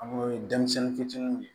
An ko ye denmisɛnnin fitininw ye